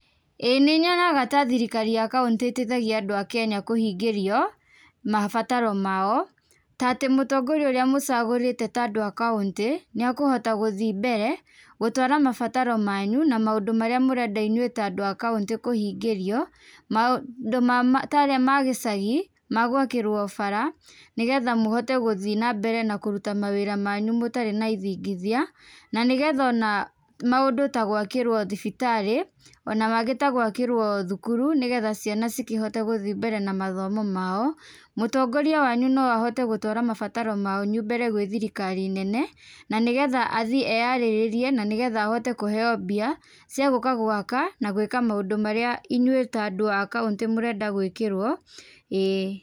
Ĩĩ nĩ nyonaga ta thirikari ya kauntĩ ĩteithagia andũ a Kenya kũhingĩrio mabataro mao, ta atĩ mũtongoria ũrĩa mũcagũrĩte ta andũ a kauntĩ nĩ akũhota gũthii mbere gũtwara mabataro manyu na maũndũ marĩa mũrenda inyuĩ ta andũ a kauntĩ kũhingĩrio. Maũndũ marĩa ma gĩcagi ma gwakĩrwo bara nĩgetha mũhote gũthii na mbere na kũruta mawĩra manyu mũtarĩ na ithingithia na nĩgetha ona maũndũ ta gwakĩrwo thibitarĩ, ona mangĩ ta gwakĩrwo thukuru nĩgetha ciana cikĩhote gũthii mbere na mathomo mao. Mũtongoria wanyu no ahote gũtwara mabataro manyu mbere gwĩ thirikari nene na nĩgetha athiĩ eyarĩrĩrie na nĩgetha ahote kũheyo mbia cia gũka gwaka na gwĩka maũndũ marĩa inyuĩ ta andũ a kauntĩ mũrenda gwĩkĩrwo. Ĩĩ.